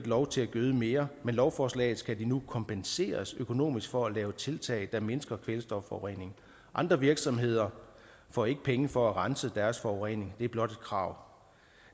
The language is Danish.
lov til at gøde mere med lovforslaget skal de nu kompenseres økonomisk for at lave tiltag der mindsker kvælstofforureningen andre virksomheder får ikke penge for at rense deres forurening det er blot et krav